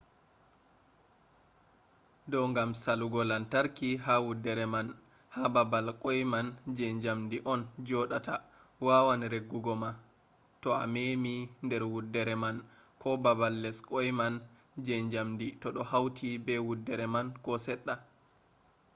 do gam salugo lantarki ha wuddere man ha babal kwai man je jamdi on jodata wawan riggugo ma to a memi der wuddere man ko babal les kwai man je jamdi to do hauti be wuddere man ko sedda